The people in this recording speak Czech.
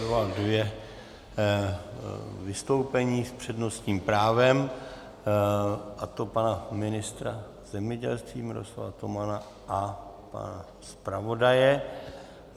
Vyvolal dvě vystoupení s přednostním právem, a to pana ministra zemědělství Miroslava Tomana a pana zpravodaje.